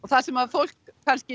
það sem fólk